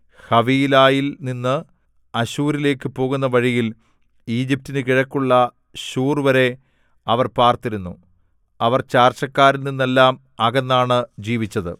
ഹവീലായിൽ നിന്ന് അശ്ശൂരിലേക്കു പോകുന്ന വഴിയിൽ ഈജിപ്റ്റിനു കിഴക്കുള്ള ശൂർവരെ അവർ പാർത്തിരുന്നു അവർ ചാർച്ചക്കാരിൽ നിന്നെല്ലാം അകന്നാണു ജീവിച്ചത്